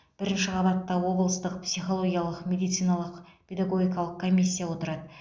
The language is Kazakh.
бірінші қабатта облыстық психологиялық медициналық педагогикалық комиссия отырады